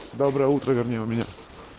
доброе утро вернее у меня